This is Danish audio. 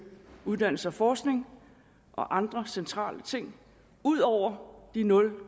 uddannelse og forskning og andre centrale ting ud over de nul